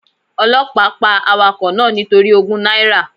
Ọlọ́pàá pa awakọ̀ náà nítorí ogún náírà.